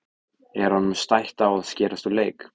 Er honum stætt á að skerast úr leik?